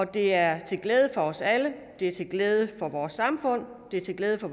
det er til glæde for os alle det er til glæde for vores samfund det er til glæde for